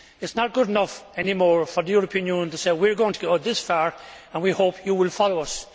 It is not good enough any more for the European Union to say we are going to go this far and we hope you will follow us.